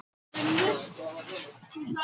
Sama fröken Þórunn dregin til vitnis.